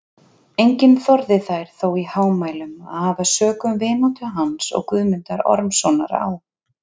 Enginn þorði þær þó í hámælum að hafa sökum vináttu hans og Guðmundar Ormssonar á